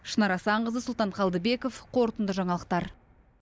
шынар асанқызы сұлтан қалдыбеков қорытынды жаңалықтар